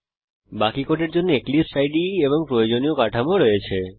এখানে বাকি কোডের জন্য এক্লিপসে ইদে এবং প্রয়োজনীয় কাঠামো রয়েছে